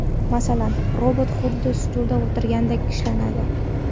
Masalan, robot xuddi stulda o‘tirgandek ishlanadi.